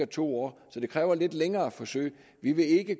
to år så det kræver lidt længere forsøg vi vil ikke